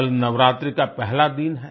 कल नवरात्रि का पहला दिन है